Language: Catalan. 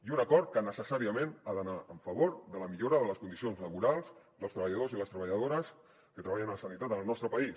i un acord que necessàriament ha d’anar en favor de la millora de les condicions laborals dels treballadors i les treballadores que treballen a la sanitat en el nostre país